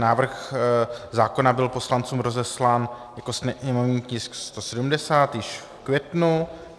Návrh zákona byl poslancům rozeslán jako sněmovní tisk 170 již v květnu.